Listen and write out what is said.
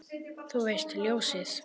Þú veist, ljósið